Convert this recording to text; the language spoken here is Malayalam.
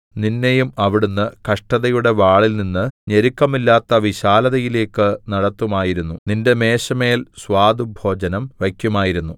നിന്നെയും അവിടുന്ന് കഷ്ടതയുടെ വാളിൽനിന്ന് ഞെരുക്കമില്ലാത്ത വിശാലതയിലേക്ക് നടത്തുമായിരുന്നു നിന്റെ മേശമേൽ സ്വാദുഭോജനം വയ്ക്കുമായിരുന്നു